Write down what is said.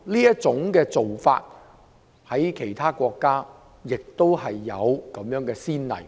這種做法在其他國家亦有先例。